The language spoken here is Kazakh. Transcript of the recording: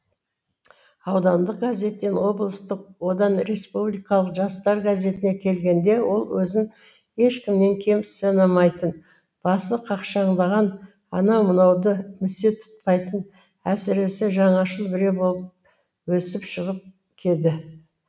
аудандық газеттен облыстық одан республикалық жастар газетіне келгенде ол өзін ешкімнен кем санамайтын басы қақшаңдаған анау мынауды місе тұтпайтын әсіресе жаңашыл біреу болып өсіп шығып кеді